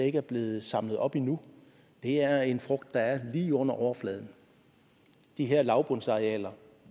ikke er blevet samlet op endnu er en frugt der er lige under overfladen de her lavbundsarealer